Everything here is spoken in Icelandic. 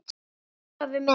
En Ólafur minn.